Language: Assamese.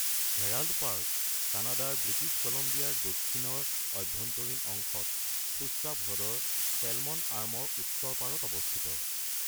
হেৰাল্ড পাৰ্ক কানাডাৰ ব্ৰিটিছ কলম্বিয়াৰ দক্ষিণৰ অভ্যন্তৰীণ অংশত শুশ্বাপ হ্ৰদৰ ছেলমন আৰ্মৰ উত্তৰ পাৰত অৱস্থিত।